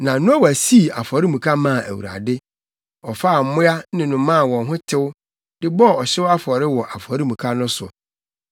Na Noa sii afɔremuka maa Awurade. Ɔfaa mmoa ne nnomaa a wɔn ho tew, de bɔɔ ɔhyew afɔre wɔ afɔremuka no so.